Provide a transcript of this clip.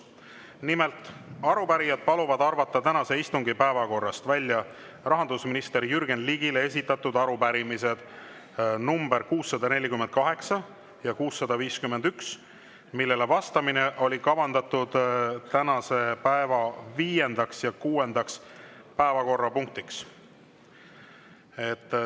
Nimelt, arupärijad paluvad arvata tänase istungi päevakorrast välja rahandusminister Jürgen Ligile esitatud arupärimised number 648 ja 651, millele vastamine oli kavandatud tänase päeva viiendaks ja kuuendaks päevakorrapunktiks.